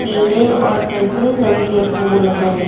पीले और संतरी रंग के फूल हैं।